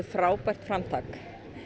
frábært framtak